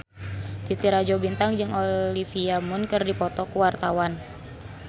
Titi Rajo Bintang jeung Olivia Munn keur dipoto ku wartawan